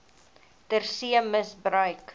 ter see misbruik